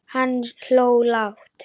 Hann hló lágt.